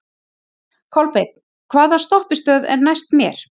Kolbeinn, hvaða stoppistöð er næst mér?